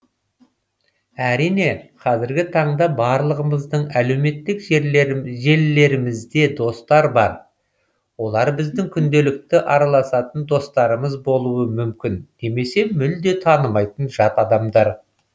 әрине қазіргі таңда барлығымыздың әлеуметтік желілерімізде достар бар олар біздің күнделікті араласатын достарымыз болуы мүмкін немесе мүлде танымайтын жат адамдар